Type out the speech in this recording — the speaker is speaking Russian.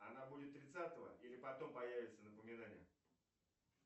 она будет тридцатого или потом появится напоминание